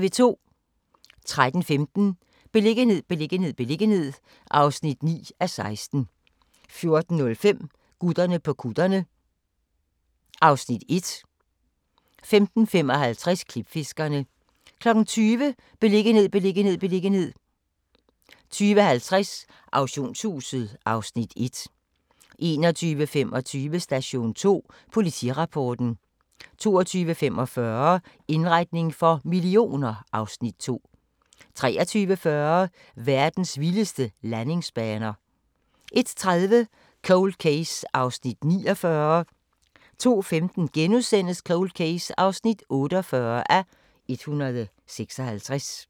13:15: Beliggenhed, beliggenhed, beliggenhed (9:16) 14:05: Gutterne på kutterne (Afs. 1) 15:55: Klipfiskerne 20:00: Beliggenhed, beliggenhed, beliggenhed 20:50: Auktionshuset (Afs. 1) 21:25: Station 2: Politirapporten 22:45: Indretning for millioner (Afs. 2) 23:40: Verdens vildeste landingsbaner 01:30: Cold Case (49:156) 02:15: Cold Case (48:156)*